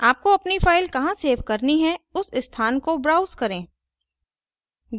आपको अपनी फ़ाइल कहाँ सेव करनी है उस स्थान को browse करें